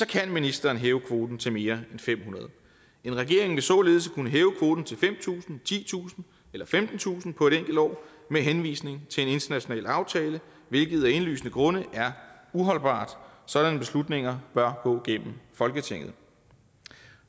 kan ministeren hæve kvoten til mere end fem hundrede en regering vil således kunne hæve kvoten til fem tusind titusind eller femtentusind på et enkelt år med henvisning til en international aftale hvilket af indlysende grunde er uholdbart sådanne beslutninger bør gå gennem folketinget